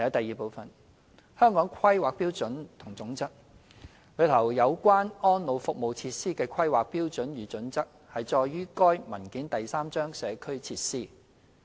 二《香港規劃標準與準則》內有關安老服務設施的規劃標準與準則載於該文件第三章"社區設施"。